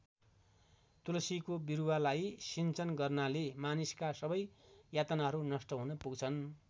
तुलसीको बिरुवालाई सिञ्चन गर्नाले मानिसका सबै यातनाहरू नष्ट हुन पुग्छन्।